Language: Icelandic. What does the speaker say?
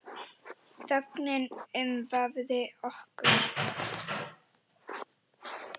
Þögnin umvafði okkur.